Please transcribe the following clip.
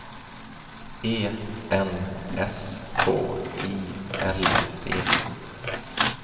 E N S K I L D